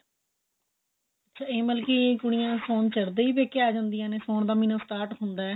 ਇਹ ਮਤਲਬ ਕੀ ਕੁੜੀਆਂ ਸਾਉਣ ਚੜਦੇ ਹੀ ਪੇਕੇ ਆ ਜਾਂਦੀਆਂ ਨੇ ਸਾਉਣ ਦਾ ਮਹੀਨਾ start ਹੁੰਦਾ